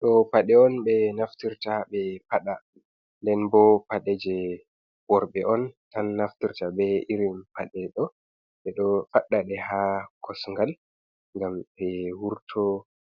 Ɗo paɗe on be naftirta be paɗa ndenbo paɗe je worɓe on tan naftirta be irin paɗe ɗo ɓeɗo fadda ɗe ha kosngal ngam be wurto